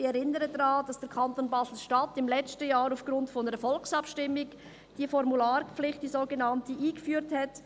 Ich erinnere daran, dass der Kanton Basel-Stadt im letzten Jahr aufgrund einer Volksabstimmung diese Formularpflicht einführte.